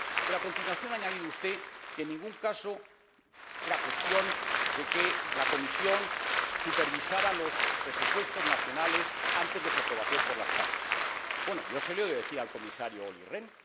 Pero, a continuación, ha añadido usted que en ningún caso era cuestión de que la Comisión supervisara los presupuestos nacionales antes de su aprobación por las Cámaras. Bueno, yo se lo he oído decir al Comisario Olli Rehn.